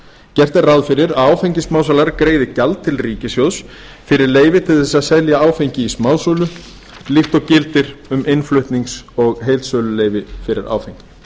gert er ráð fyrir að áfengissmásalar greiði gjald til ríkissjóðs fyrir leyfi til að selja áfengi í smásölu líkt og gildir um innflutnings og heildsöluleyfi fyrir áfengi